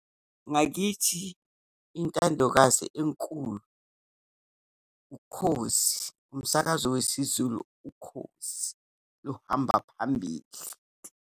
Ngakithi, intandokazi enkulu uKhozi, umsakazo wesiZulu uKhozi, luhamba phambili.